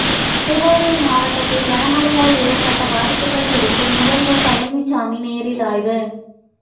திருவாரூர் மாவட்டத்தில் கனமழையால்ஏற்பட்ட பாதிப்புகள் குறித்து முதல்வர் பழனிச்சாமி நேரில் ஆய்வு